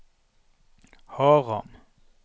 Haram